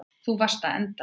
Þú varst að enda við.